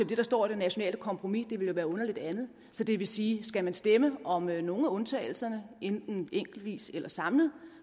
det der står i det nationale kompromis det ville være underligt andet så det vil sige at skal man stemme om nogle af undtagelserne enten enkeltvis eller samlet